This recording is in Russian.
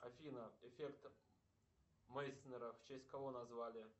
афина эффект мейснера в честь кого назвали